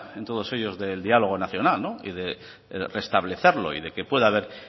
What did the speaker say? en todos ellos del diálogo nacional y de restablecerlo y de que pueda haber